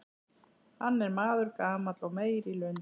Hann er maður gamall og meyr í lund.